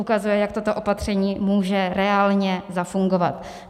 Ukazuje, jak toto opatření může reálně zafungovat.